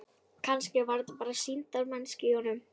Kannski var þetta bara sýndarmennska í honum.